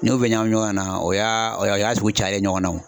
N'i y'u bɛɛ ɲagami ɲɔgɔn na o y'aa o y'a o y'a sugu cayen ɲɔgɔn na o.